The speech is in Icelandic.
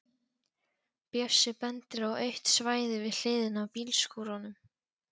Bjössi bendir á autt svæði við hliðina á bílskúrunum.